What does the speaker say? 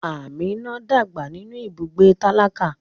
Amina dàgbà nínú ibùgbé tálákà.